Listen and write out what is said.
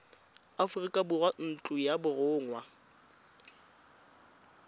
aforika borwa ntlo ya borongwa